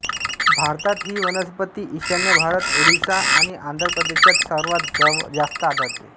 भारतात ही वनस्पती ईशान्य भारत ओरिसा आणि आंध्र प्रदेशात सर्वात जास्त आढळते